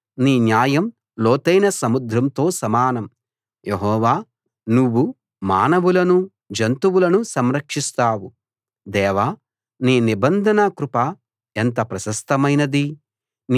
నీ న్యాయం ఉన్నతమైన పర్వతాలతో సమానం నీ న్యాయం లోతైన సముద్రంతో సమానం యెహోవా నువ్వు మానవులను జంతువులను సంరక్షిస్తావు